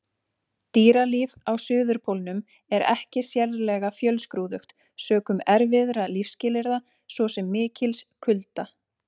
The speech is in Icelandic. Dýralíf á Suðurpólnum er ekki sérlega fjölskrúðugt sökum erfiðra lífsskilyrða, svo sem mikils kulda.